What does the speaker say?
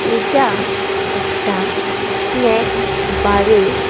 এটা একটা স্ন্যাক বারের --